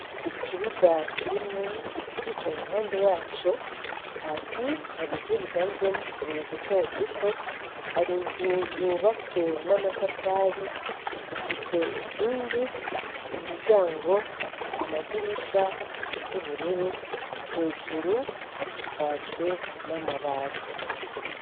Ikibuga kirimwo ibiti, ku mpande yaco hasi hari ivu rivanze n'utubuye duto duto, hari inzu yubatswe n'amatafari ifise inkingi, imiryango, amadirisha bisa n'ubururu, hejuru hasakajwe n'amabati.